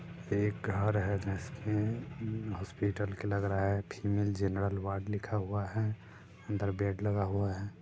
एक घर है जिसमें हॉस्पिटल के लग रहा है फीमेल जनरल वार्ड लिखा हुआ है अंदर बेड लगा हुआ है।